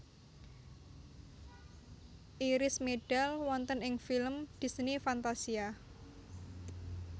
Iris medal wonten ing film Disney Fantasia